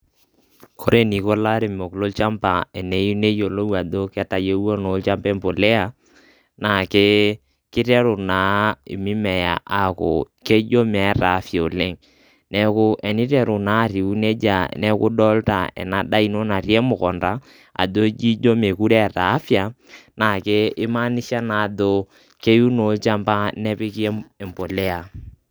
ore eniko ilairemok lolchamba teneyieu neyiolou ajo ketayiewua olchamba embolea naa kiteru naa emimea aku keeta afia oleng', teniteru naa atiu nejia neeku idolta ena daa ino natii emukunda ajo ijo emokire eeta afia, naakimanisha naa ajo keyieu naa olchamba nepiki embolea.